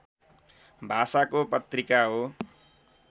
भाषाको पत्रिका हो